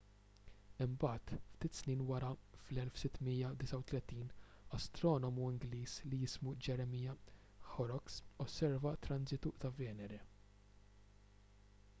imbagħad ftit snin wara fl-1639 astronomu ingliż li jismu jeremiah horrocks osserva transitu ta' venere